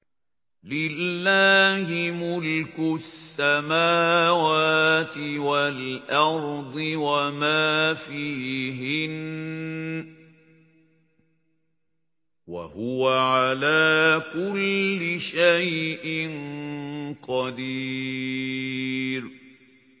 لِلَّهِ مُلْكُ السَّمَاوَاتِ وَالْأَرْضِ وَمَا فِيهِنَّ ۚ وَهُوَ عَلَىٰ كُلِّ شَيْءٍ قَدِيرٌ